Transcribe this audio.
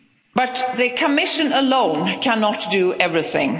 But the Commission alone cannot do everything.